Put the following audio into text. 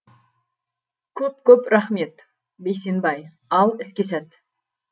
көп көп рахмет бейсенбай ал іске сәт